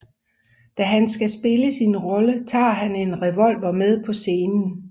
Da han skal spille sin rolle tager han en revolver med på scenen